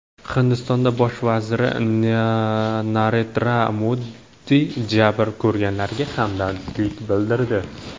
Hindiston bosh vaziri Narendra Modi jabr ko‘rganlarga hamdardlik bildirdi.